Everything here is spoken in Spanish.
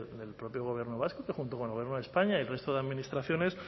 del propio gobierno vasco que junto con el gobierno de españa y el resto de administraciones